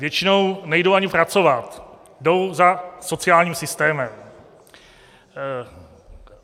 Většinou nejdou ani pracovat, jdou za sociálním systémem.